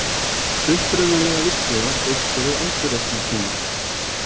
Upprunalega virkið var byggt fyrir endurreisnartímann.